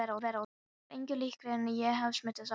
Það var engu líkara en ég hefði smitast af deyfð